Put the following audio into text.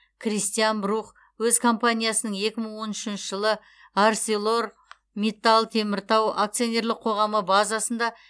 кристиан брух өз компаниясының екі мың он үшінші жылы арселор миттал теміртау акционерлік қоғамы базасында